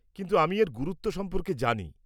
কিন্তু আমি এর গুরুত্ব সম্পর্কে জানি।